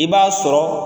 I b'a sɔrɔ